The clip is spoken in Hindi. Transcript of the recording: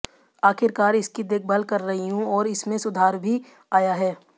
आखिरकार इसकी देखभाल कर रही हूं और इसमें सुधार भी आया है